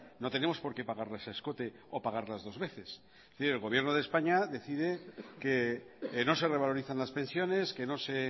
no tenemos por qué pagarlas a escote o pagarlas dos veces es decir el gobierno de españa decide que no se revalorizan las pensiones que no se